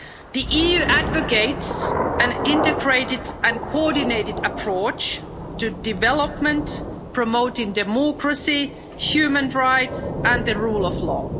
The EU advocates an integrated and coordinated approach to development, promoting democracy, human rights and the rule of law.